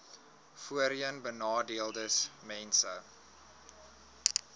voorheenbenadeeldesmense